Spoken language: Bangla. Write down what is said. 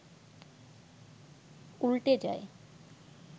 উল্টে যায়